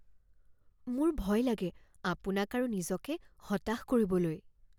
মোৰ ভয় লাগে আপোনাক আৰু নিজকে হতাশ কৰিবলৈ।